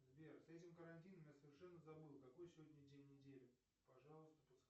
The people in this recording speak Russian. сбер с этим карантином я совершенно забыл какой сегодня день недели пожалуйста подскажи